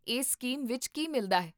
ਇਸ ਸਕੀਮ ਵਿੱਚ ਕੀ ਮਿਲਦਾ ਹੈ?